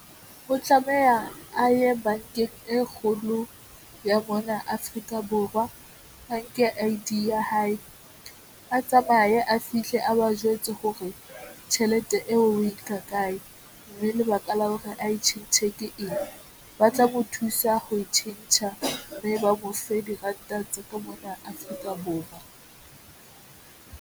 Ho tlameha a ye bankeng e kgolo ya mona Afrika Borwa. Ba nke I_D ya hae a tsamaye a fihle a ba jwetse hore tjhelete eo o e nka kae mme lebaka la hore ae tjhentjhe ke eng, ba tla mo thusa ho tjhentjha mme ba mofe diranta tsa ka mona Afrika Borwa.